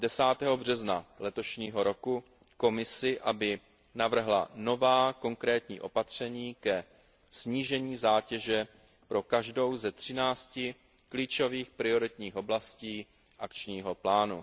10. března letošního roku Komisi, aby navrhla nová konkrétní opatření ke snížení zátěže pro každou ze 13 klíčových prioritních oblastí akčního plánu.